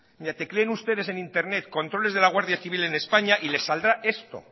mire tecleen ustedes en internet controles de la guardia civil en españa y les saldrá esto